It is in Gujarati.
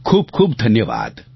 ખૂબખૂબ ધન્યવાદ